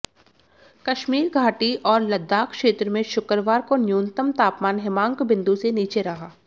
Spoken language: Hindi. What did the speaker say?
कश्मीर घाटी और लद्दाख क्षेत्र में शुक्रवार को न्यूमतम तापमान हिमांक बिंदू से नीचे रहा